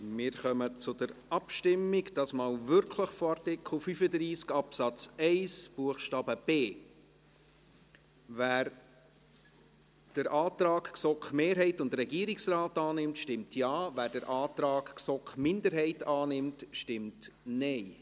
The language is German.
Wir kommen zur Abstimmung, diesmal wirklich zu Artikel 35 Absatz 1 Buchstabe b. Wer den Antrag GSoK-Mehrheit und Regierungsrat annimmt, stimmt Ja, wer den Antrag GSoK-Minderheit annimmt, stimmt Nein.